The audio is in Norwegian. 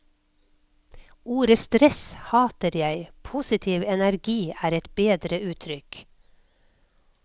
Ordet stress hater jeg, positiv energi er et bedre uttrykk.